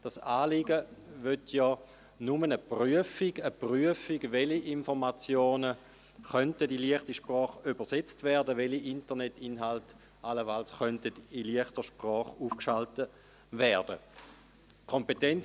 Dieses Anliegen will ja nur eine Prüfung – eine Prüfung, dahingehend, welche Informationen in «leichte Sprache» übersetzt und welche Internetinhalte allenfalls in «leichter Sprache» aufgeschaltet werden könnten.